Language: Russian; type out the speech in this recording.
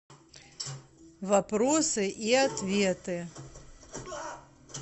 вопросы и ответы